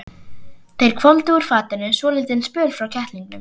Þeir hvolfdu úr fatinu svolítinn spöl frá kettlingunum.